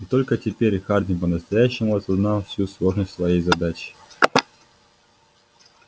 и только теперь хардин по-настоящему осознал всю сложность своей задачи